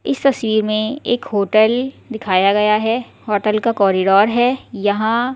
इस तस्वीर में एक होटल दिखाया गया है होटल का कॉरिडोर है यहां--